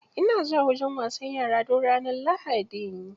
Ina zuwa wajen wasan yara duk ranar lahadi.